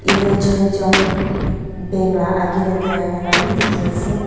ete choi jun bank la agae dae bhi dekhe ase.